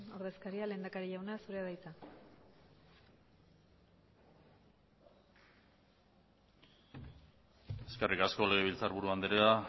ordezkaria lehendakari jauna zurea da hitza eskerrik asko legebiltzarburu andrea